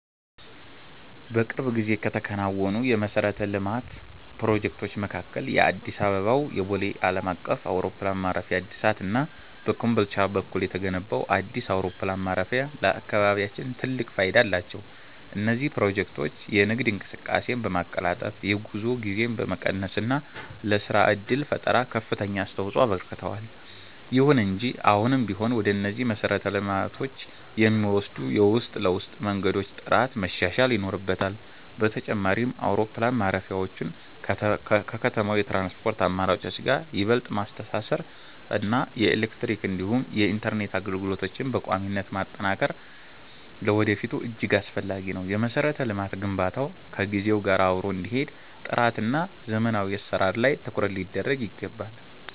በቅርብ ጊዜ ከተከናወኑ የመሠረተ ልማት ፕሮጀክቶች መካከል የአዲስ አበባው የቦሌ ዓለም አቀፍ አውሮፕላን ማረፊያ እድሳት እና በኮምቦልቻ በኩል የተገነባው አዲስ አውሮፕላን ማረፊያ ለአካባቢያችን ትልቅ ፋይዳ አላቸው። እነዚህ ፕሮጀክቶች የንግድ እንቅስቃሴን በማቀላጠፍ፣ የጉዞ ጊዜን በመቀነስ እና ለሥራ ዕድል ፈጠራ ከፍተኛ አስተዋፅኦ አበርክተዋል። ይሁን እንጂ አሁንም ቢሆን ወደ እነዚህ መሰረተ ልማቶች የሚወስዱ የውስጥ ለውስጥ መንገዶች ጥራት መሻሻል ይኖርበታል። በተጨማሪም፣ አውሮፕላን ማረፊያዎቹን ከከተማው የትራንስፖርት አማራጮች ጋር ይበልጥ ማስተሳሰር እና የኤሌክትሪክ እንዲሁም የኢንተርኔት አገልግሎቶችን በቋሚነት ማጠናከር ለወደፊቱ እጅግ አስፈላጊ ነው። የመሠረተ ልማት ግንባታው ከጊዜው ጋር አብሮ እንዲሄድ ጥራትና ዘመናዊ አሠራር ላይ ትኩረት ሊደረግ ይገባል።